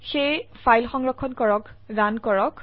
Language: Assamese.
সেয়ে ফাইল সংৰক্ষণ কৰক ৰান কৰক